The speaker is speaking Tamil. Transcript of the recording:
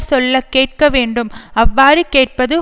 சொல்ல கேட்க வேண்டும் அவ்வாறு கேட்பது